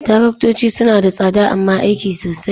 Taraktoci suna da tsada amma aiki sosai.